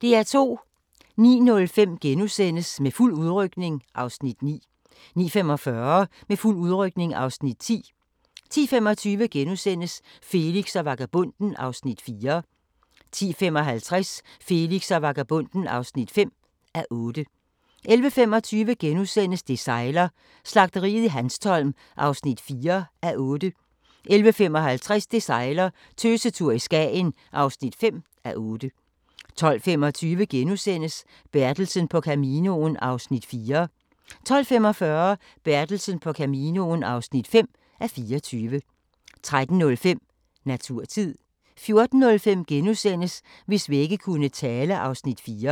09:05: Med fuld udrykning (Afs. 9)* 09:45: Med fuld udrykning (Afs. 10) 10:25: Felix og vagabonden (4:8)* 10:55: Felix og vagabonden (5:8) 11:25: Det sejler - Slagteriet i Hanstholm (4:8)* 11:55: Det sejler - Tøsetur i Skagen (5:8) 12:25: Bertelsen på Caminoen (4:24)* 12:45: Bertelsen på Caminoen (5:24) 13:05: Naturtid 14:05: Hvis vægge kunne tale (Afs. 4)*